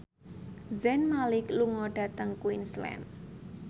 Zayn Malik lunga dhateng Queensland